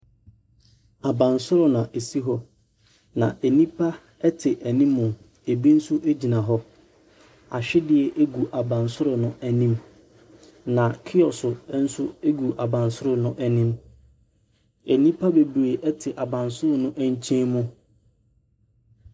Abansoro na ɛsi hɔ, nnipa te anim, bi nso gyina hɔ. Ahwedeɛ gu abansoro no anim, na kiɔso nso gu abansoro no anim. Nnipa bebree te abansoro no nkyɛn mu.